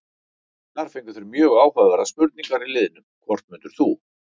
Þar fengu þeir mjög áhugaverðar spurningar í liðnum: Hvort myndir þú?